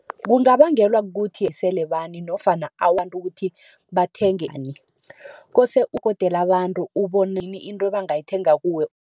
Kungabangelwa kukuthi nofana kuthi bathenge . Kose abantu into abangayithenga kuwe.